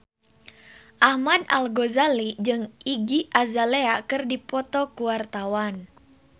Ahmad Al-Ghazali jeung Iggy Azalea keur dipoto ku wartawan